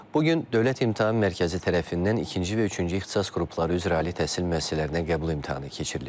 Bugün Dövlət İmtahan Mərkəzi tərəfindən ikinci və üçüncü ixtisas qrupları üzrə ali təhsil müəssisələrinə qəbul imtahanı keçirilib.